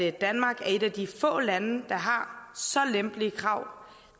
at danmark er et af de få lande der har så lempelige krav